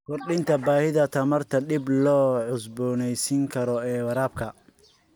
Kordhinta baahida tamarta dib loo cusboonaysiin karo ee waraabka.